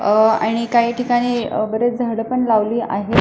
अह आणि काही ठिकाणी बरेच झाड पण लावली आहेत.